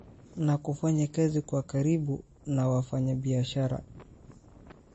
na kufanya kazi kwa karibu na wafanyabiashara